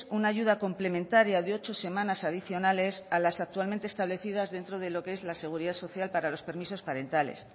una ayuda complementaria de ocho semanas adicionales a las actualmente establecidas dentro de lo que es la seguridad social para los permisos parentales